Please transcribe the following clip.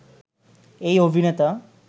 এই অভিনেতা